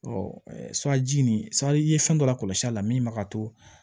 suraji nin sa i ye fɛn dɔ la kɔlɔsi a la min ma to